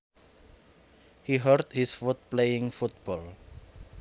He hurt his foot playing football